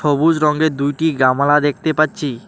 সবুজ রঙের দুইটি গামলা দেখতে পাচ্ছি।